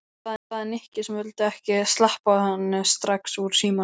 sagði Nikki sem vildi ekki sleppa henni strax úr símanum.